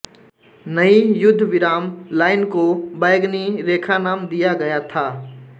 नई युद्धविराम लाइन को बैंगनी रेखा नाम दिया गया था